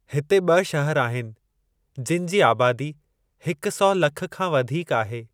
हिते ॿि शहर आहिनि जिनि जी आबादी हिक सौ लख खां वधीक आहे।